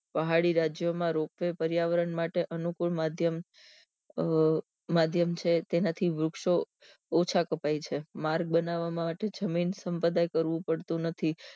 પહાડી રાજ્યો માં ropeway પર્યાવરણ માટે અનુકુળ માધ્યમ અ માધ્યમ છર તેનાંથી વૃક્ષો ઓછા કપાય છે માર્ગ બનાવાથી જમીન સપદાય કરવું પડતું નથી